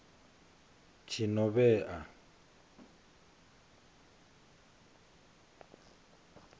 tshinovhea